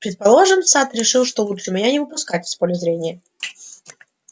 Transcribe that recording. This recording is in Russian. предположим сатт решил что лучше меня не выпускать из поля зрения